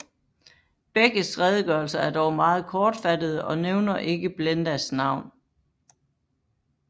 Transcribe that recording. Begges redegørelser er dog meget kortfattede og nævner ikke Blendas navn